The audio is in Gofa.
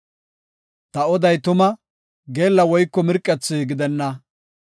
Ta oday tuma; geella woyko mirqethi gidenna.